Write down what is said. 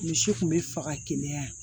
Misi kun bɛ faga kɛnɛya